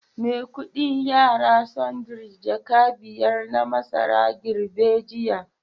Maikudi yara sundry jaka biyar na masara girbe jiya